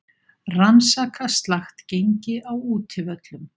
Rannsaka slakt gengi á útivöllum